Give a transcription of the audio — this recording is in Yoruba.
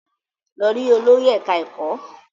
Lọ rí olórí ẹ̀ká ẹ̀kọ́!